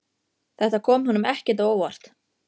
Þetta kom honum ekkert á óvart.